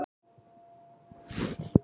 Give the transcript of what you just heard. Taktu þetta burt!